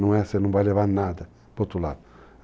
você não vai levar nada para o outro lado.